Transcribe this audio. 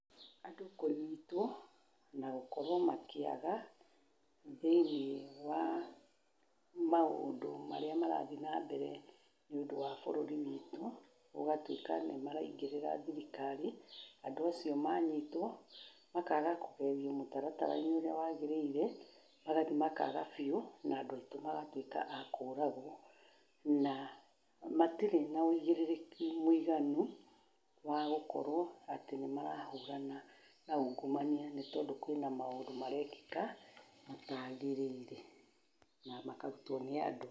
Andũ kũnyitwo na gũkorwo makĩaga thĩiniĩ wa maũndũ marĩa marathiĩ na mbere nĩ ũndũ wa bũruri witũ, gũgatuika nĩ maraingĩrĩra thirikari andũ acio manyitwo makaga kũgerio mũtaratara-inĩ ũrĩa wagĩrĩire, magathiĩ makaga biũ na andũ aitũ magatũika aa kũragwo na matirĩ na ũgĩrĩrĩki mwĩganu wagũkorwo atĩ nĩmarahũrana na ungumania, nĩ tondũ kwĩna maũndũ marekĩka matagĩrĩire na makarũtwo nĩ andũ.